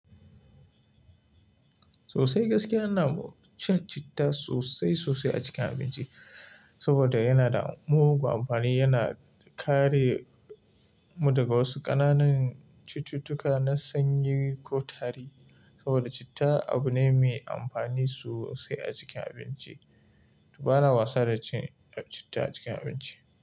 Sosai gaskiya ana cin citta sosai sosai a cikin abinci saboda yana da mugun amfani, yana kare mu daga wasu ƙananan cututtuka na sanyi ko tari saboda citta abu ne mai amfani sosai a cikin abinci. Ba na wasa da cin citta a cikin abinci.